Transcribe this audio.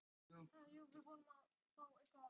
Eggert Gunnþór og Jóhann Berg.